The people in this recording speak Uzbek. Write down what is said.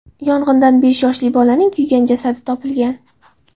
Yong‘indan besh yoshli bolaning kuygan jasadi topilgan.